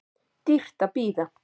Dýrt að bíða